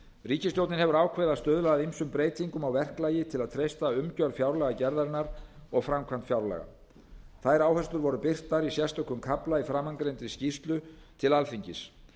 ríkisstjórnin hefur ákveðið að stuðla að ýmsum breytingum á verklagi til að treysta umgjörð fjárlagagerðarinnar og framkvæmd fjárlaga þær áherslur voru birtar í sérstökum kafla í framangreindri skýrslu til alþingis